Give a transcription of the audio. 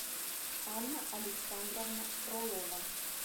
анна александровна фролова